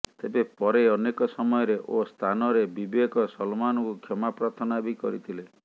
ତେବେ ପରେ ଅନେକ ସମୟରେ ଓ ସ୍ଥାନରେ ବିବେକ ସଲମାନଙ୍କୁ କ୍ଷମା ପ୍ରାର୍ଥନା ବି କରିଥିଲେ